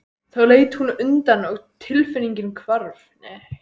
Þá leit hún undan og tilfinningin hvarf.